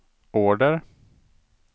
order